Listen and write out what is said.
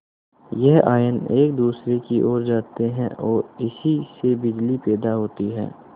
यह आयन एक दूसरे की ओर आते हैं ओर इसी से बिजली पैदा होती है